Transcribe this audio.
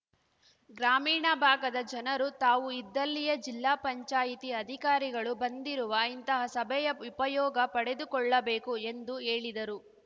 ಗ್ರಾಮೀಣ ಭಾಗದ ಜನರು ತಾವು ಇದ್ದಲ್ಲಿಯೇ ಜಿಲ್ಲಾ ಪಂಚಾಯತಿ ಅಧಿಕಾರಿಗಳು ಬಂದಿರುವ ಇಂತಹ ಸಭೆಯ ಉಪಯೋಗ ಪಡೆದುಕೊಳ್ಳಬೇಕು ಎಂದು ಹೇಳಿದರು